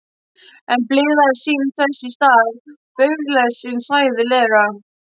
En blygðaðist sín þess í stað, blygðaðist sín hræðilega.